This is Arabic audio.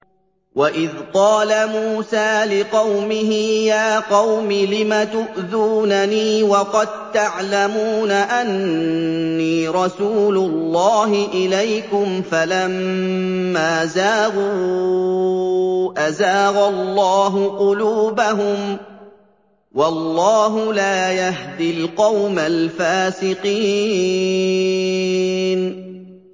وَإِذْ قَالَ مُوسَىٰ لِقَوْمِهِ يَا قَوْمِ لِمَ تُؤْذُونَنِي وَقَد تَّعْلَمُونَ أَنِّي رَسُولُ اللَّهِ إِلَيْكُمْ ۖ فَلَمَّا زَاغُوا أَزَاغَ اللَّهُ قُلُوبَهُمْ ۚ وَاللَّهُ لَا يَهْدِي الْقَوْمَ الْفَاسِقِينَ